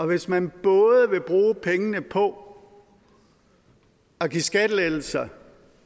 hvis man både vil bruge pengene på at give skattelettelser